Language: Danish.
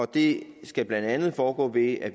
det skal blandt andet foregå ved at